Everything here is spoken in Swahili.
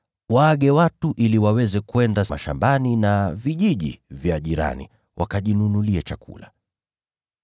Waage watu ili waende mashambani na vijijini jirani, wakajinunulie chakula.”